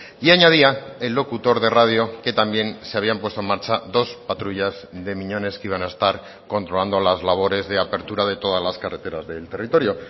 y añadía el locutor de radio que también se habían puesto en marcha dos patrullas de miñones que iban a estar controlando las labores de apertura de todas las carreteras del territorio